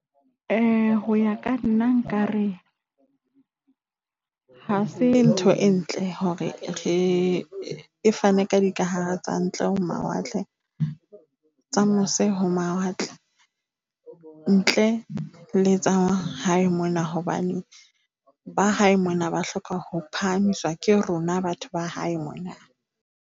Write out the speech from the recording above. Ho ya ka nna nkare ha se ntho e ntle hore e fane ka dikahare tsa ntle ho mawatle, tsa mose ho mawatle ntle le tsa hae mona hobane ba hae mona ba hloka ho phahamiswa ke rona batho ba hae mona.